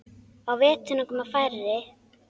Á veturna koma færri.